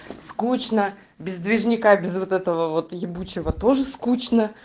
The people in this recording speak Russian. скучно без движняка без вот этого вот ебучего тоже скучно